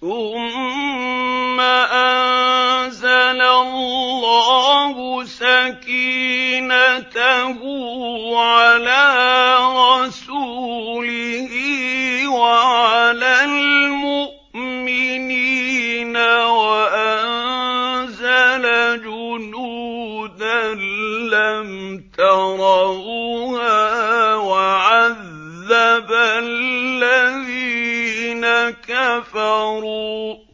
ثُمَّ أَنزَلَ اللَّهُ سَكِينَتَهُ عَلَىٰ رَسُولِهِ وَعَلَى الْمُؤْمِنِينَ وَأَنزَلَ جُنُودًا لَّمْ تَرَوْهَا وَعَذَّبَ الَّذِينَ كَفَرُوا ۚ